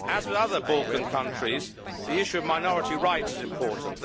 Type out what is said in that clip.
As with other Balkan countries, the issue of minority rights is important.